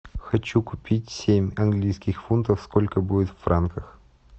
хочу купить семь английских фунтов сколько будет в франках